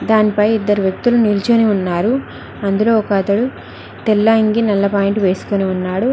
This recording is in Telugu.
దానిపై ఇద్దరు వ్యక్తులు నిల్చొని ఉన్నారు అందులో ఒక అతడు తెల్ల అంగీ నల్ల పాయింట్ వేసుకొని ఉన్నాడు.